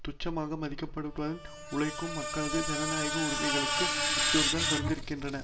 துச்சமாக மதிக்கப்படுவதுடன் உழைக்கும் மக்களது ஜனநாயக உரிமைகளுக்கு அச்சுறுத்தல் வந்திருக்கின்றன